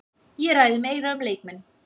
Ég ræði meira um leikmenn.